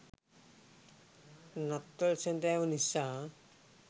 නත්තල් සැඳෑව නිසා